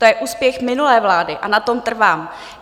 To je úspěch minulé vlády a na tom trvám.